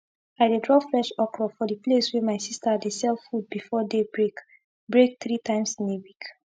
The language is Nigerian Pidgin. i dey drop fresh okro for the place wey my sista dey sell food before day break break three times in a week